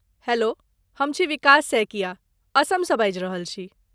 Hello, हम छी विकास सैकिया ,असमसँ बाजि रहल छी।